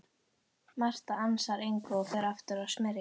Marta ansar engu og fer aftur að smyrja.